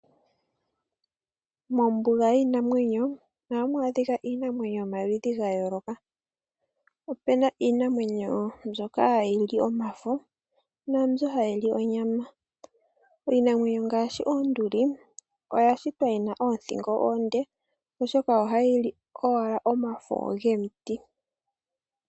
Mombuga yiinamwenyo, ohamu adhika iinamwenyo yo maludhi ga yooloka. Opuna iinamwenyo mbyoka hayi li omafo naambyoka hayi li onyama. Iinamwenyo ngaashi oonduli oya shitwa yina oothingo oonde, oshoka oha yili owala omafo gomiti.